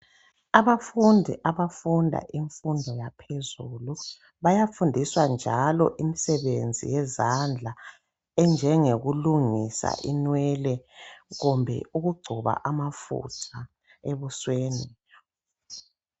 Abafundi abafunda imfundo yaphezulu bayafundiswa njalo imisebenzi yezandla enjengokulungisa inwele kumbe ukugcoba amafutha ebusweni